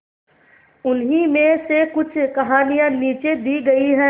उन्हीं में से कुछ कहानियां नीचे दी गई है